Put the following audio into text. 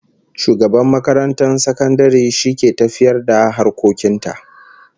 Shugaban makarantar sakandare shi ke tafiyar da harkokin ta